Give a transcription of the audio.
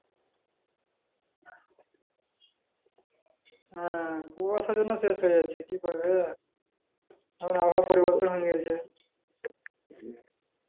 হ্যাঁ কুয়াশার জন্য শেষ হয়ে যাচ্ছি কি করাবে আবহাওয়া পরিবর্তন হয়ে গেছে